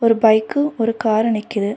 ஒரு பைக்கும் ஒரு காரு நிக்குது.